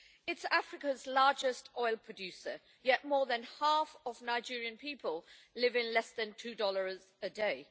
It is Africa's largest oil producer, yet more than half of Nigerian people live on less than two dollars a day.